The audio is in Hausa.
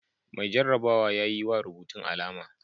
Mai jarrabawa ya yi wa rubutun alama.